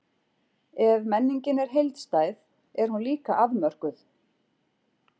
Ef menningin er heildstæð, er hún líka afmörkuð.